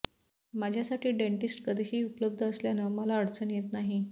माझ्यासाठी डेंटिस्ट कधीही उपलब्ध असल्यानं मला अडचण येत नाही